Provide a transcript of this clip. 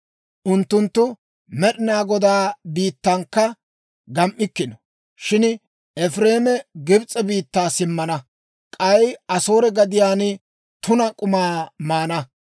Unttunttu Med'inaa Godaa biittankka gam"ikkino. Shin Efireeme Gibs'e biittaa simmana; k'ay Asoore gadiyaan tuna k'umaa maana.